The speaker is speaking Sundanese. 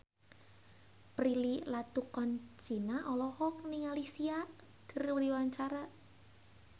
Prilly Latuconsina olohok ningali Sia keur diwawancara